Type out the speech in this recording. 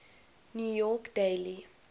new york daily